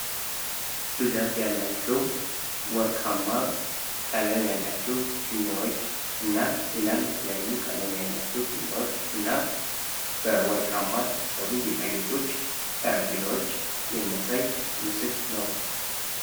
ብዛት ያላቸው ወርቃማ ቀለም ያላቸው ፊኛዎች እና ሌላም የተለያዩ ቀለም ያላቸው ፊኛዎች እና በወርቃማ የተሰሩ ጌጣጌጦች ጠረጴዛዎች የሚያሳይ ምስል ነው።